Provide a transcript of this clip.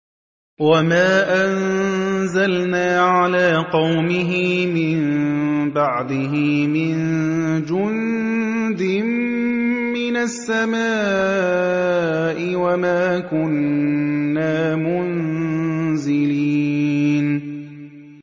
۞ وَمَا أَنزَلْنَا عَلَىٰ قَوْمِهِ مِن بَعْدِهِ مِن جُندٍ مِّنَ السَّمَاءِ وَمَا كُنَّا مُنزِلِينَ